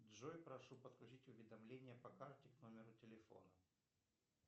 джой прошу подключить уведомления по карте к номеру телефона